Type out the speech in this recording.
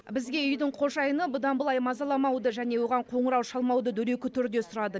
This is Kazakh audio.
бізге үйдің қожайыны бұдан былай мазаламауды және оған қоңырау шалмауды дөрекі түрде сұрады